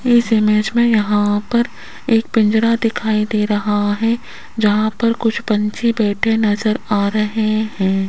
इस इमेज में यहां पर एक पिंजरा दिखाई दे रहा है जहां पर कुछ पपक्षी बैठे नजर आ रहे हैं।